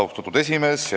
Austatud esimees!